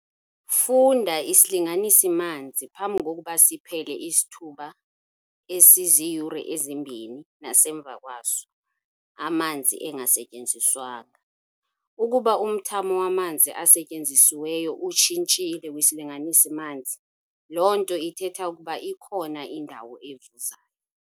Funda isilinganisi-manzi phambi kokuba siphele isithuba esiziyure ezimbini nasemva kwaso, amanzi engasetyenziswanga. Ukuba umthamo wamanzi asetyenzisiweyo utshitshile kwisilinganisi-manzi, loo nto ithetha ukuba ikhona indawo evuzayo.